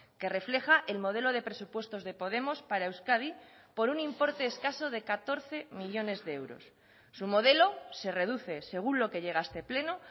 que refleja el modelo de presupuestos de podemos para euskadi por un importe escaso de catorce millónes de euros su modelo se reduce según lo que llega a este pleno